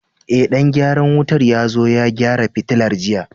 Ee, dan gyaran wutar ya zo ya gyara fitilar jiya.